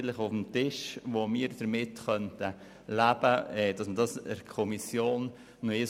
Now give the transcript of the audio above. Wir möchten auch, dass man diesen Artikel nochmals in der Kommission anschaut.